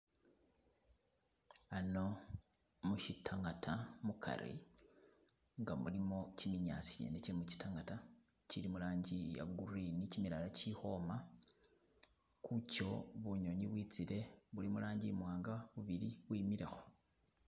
Ano mushitangata mukari nga mulimo kiminyasi ngene che mukitangata kili mu rangi iye green kimilala kili ukhwoma kucho bunyonyi bwitsile buli murangi imwanga bubili bwemileko.